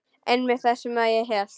Einmitt það sem ég hélt.